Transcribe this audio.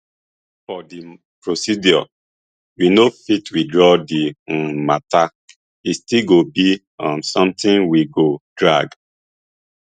for di procedure we no fit withdraw di um mata e still go be um sometin we go drag